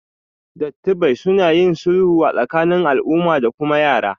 Dattibai suna yin sulhu a tsakanin al'umma da kuma yara